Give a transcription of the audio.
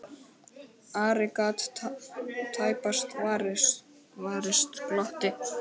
Ari gat tæpast varist glotti.